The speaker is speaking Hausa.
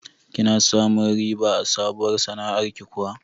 Kina samun riba a sabuwar sana'ar kiwo?